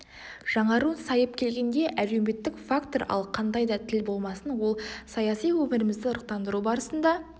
жаңару сайып келгенде әлеуметтік фактор ал қандай да тіл болмасын ол саяси өмірімізді ырықтандыру барысында